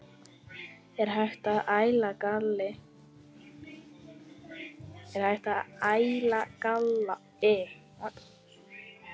Er hægt að æla galli?